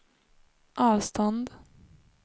avstånd